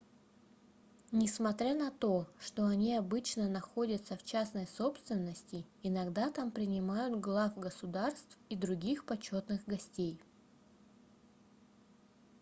несмотря на то что они обычно находятся в частной собственности иногда там принимают глав государств и других почетных гостей